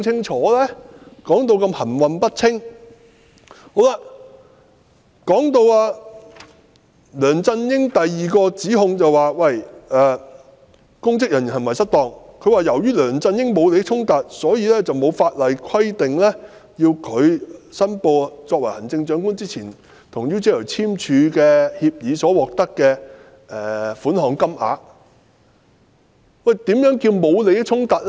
在提到第二項針對梁振英的指控，即"公職人員行為失當"時，律政司說："由於梁振英沒有利益衝突，因此沒有法律規定需要申報他在成為行政長官之前，與 UGL 簽訂協議而會獲得款項的金額"。